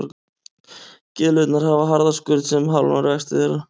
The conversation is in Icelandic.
Gyðlurnar hafa harða skurn sem hamlar vexti þeirra.